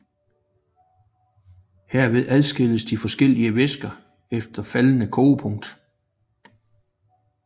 Herved adskilles de forskellige væsker efter faldende kogepunkt